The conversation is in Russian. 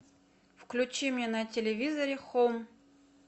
включи мне на телевизоре хоум